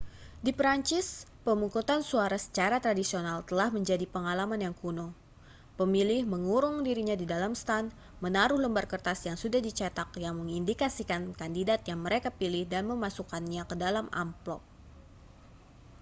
di perancis pemungutan suara secara tradisional telah menjadi pengalaman yang kuno pemilih mengurung dirinya di dalam stan menaruh lembar kertas yang sudah di cetak yang mengindikasikan kandidat yang mereka pilih dan memasukannya ke dalam amplop